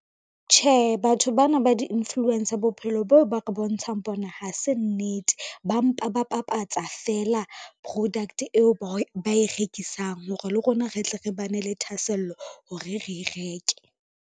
Tjhe, batho bana ba di-influence-a bophelo boo ba re bontshang bona, ha se nnete. Ba mpa ba bapatsa fela product eo ba e rekisang hore le rona re tle re ba ne le thahasello hore re reke.